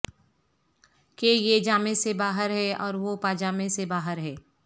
کہ یہ جامے سے باہر ہے اور وہ پاجامے سے باہر ہے